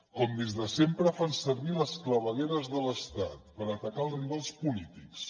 com des de sempre fan servir les clavegueres de l’estat per atacar els rivals polítics